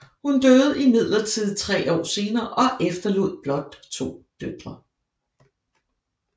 Hun døde imidlertid tre år senere og efterlod blot to døtre